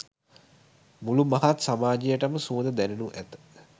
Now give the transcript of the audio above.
මුළු මහත් සමාජයටම සුවඳ දැනෙනු ඇත.